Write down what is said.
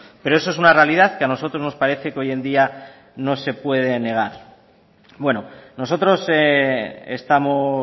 pero eso es una realidad que a nosotros nos parece que hoy en día no se puede negar bueno nosotros estamos